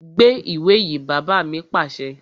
Gbé àwọn ìwé yìí! Bàbá mi pàṣẹ